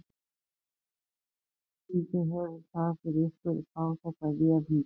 Lillý: Hvaða þýðingu hefur það fyrir ykkur að fá þessa vél hingað?